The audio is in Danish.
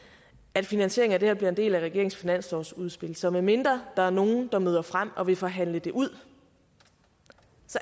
at finansieringen af det her bliver en del af regeringens finanslovsudspil så medmindre der er nogle der møder frem og vil forhandle det ud